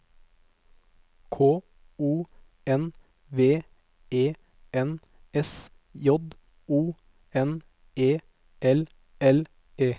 K O N V E N S J O N E L L E